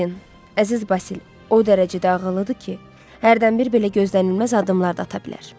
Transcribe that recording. Dorien, əziz Basil, o dərəcədə ağıllıdır ki, hərdən bir belə gözlənilməz addımlar da ata bilər.